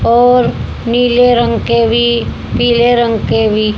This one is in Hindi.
और नीले रंग के भी पीले रंग के भी।